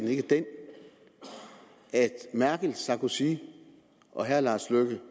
ikke den at merkel sarkozy og herre lars løkke